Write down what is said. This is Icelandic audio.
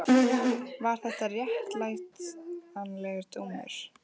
Var þetta réttlætanlegur dómur?